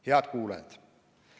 Head kuulajad!